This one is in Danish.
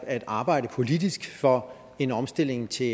at arbejde politisk for en omstilling til